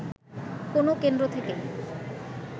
কোন কেন্দ্র থেকেই